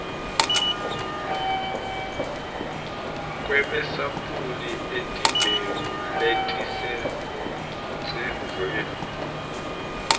kwemasampuli etimbewu letisemtsetfweni